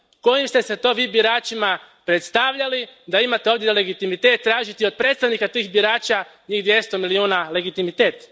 Kojim ste se to Vi biračima predstavljali da imate ovdje legitimitet tražiti od predstavnika tih birača, njih dvjesto milijuna, legitimitet?